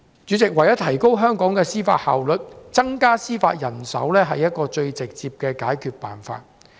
主席，為了提高香港的司法效率，增加司法人手是最直接的解決方法。